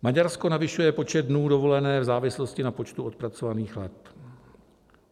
Maďarsko navyšuje počet dnů dovolené v závislosti na počtu odpracovaných let.